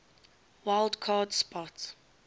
wild card spot